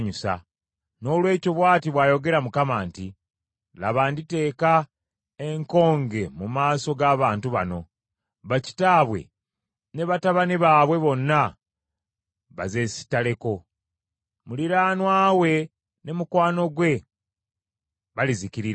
Noolwekyo bw’ati bw’ayogera Mukama nti, “Laba nditeeka enkonge mu maaso g’abantu bano; bakitaabwe ne batabani baabwe bonna bazesittaleko. Muliraanwa we ne mukwano gwe balizikirira.”